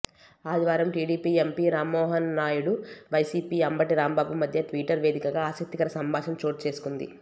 ఆదివారం TDP MP Rammohan Naidu YCP Ambati Rambabu మధ్య Twitter వేదికగా ఆసక్తికర సంభాషణ చోటు చేసుకుంది